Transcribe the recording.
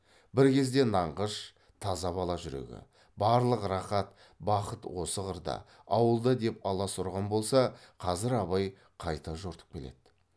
бір кезде нанғыш таза бала жүрегі барлық рахат бақыт осы қырда ауылда деп алас ұрған болса қазір абай қайта жортып келеді